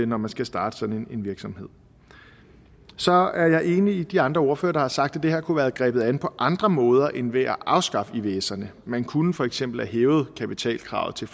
når man skal starte sådan en virksomhed så er jeg enig med de andre ordførere der har sagt at det her kunne have været grebet an på andre måder end ved at afskaffe ivserne man kunne for eksempel have hævet kapitalkravet til